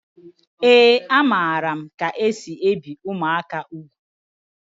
Ee a maara m ka esị ebi ụmụaka ùgwù